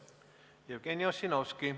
Jevgeni Ossinovski.